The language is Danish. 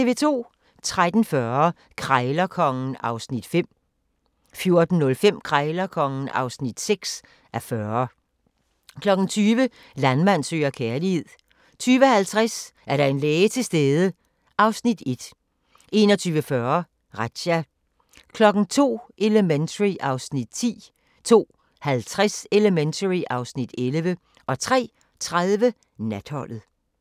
13:40: Krejlerkongen (5:40) 14:05: Krejlerkongen (6:40) 20:00: Landmand søger kærlighed 20:50: Er der en læge til stede? (Afs. 1) 21:40: Razzia 02:00: Elementary (Afs. 10) 02:50: Elementary (Afs. 11) 03:30: Natholdet